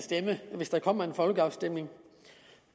stemme hvis der kommer en folkeafstemning